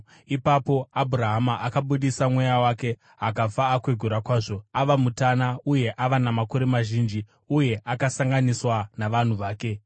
Ipapo Abhurahama akabudisa mweya wake akafa akwegura kwazvo, ava mutana uye ava namakore mazhinji; uye akasanganiswa navanhu vake.